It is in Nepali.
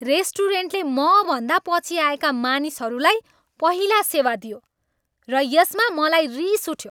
रेस्टुरेन्टले मभन्दा पछि आएका मानिसहरूलाई पहिला सेवा दियो र यसमा मलाई रिस उठ्यो।